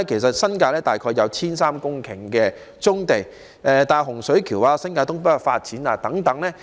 新界大概有 1,300 公頃的棕地，例如位於洪水橋、新界東北發展等的棕地。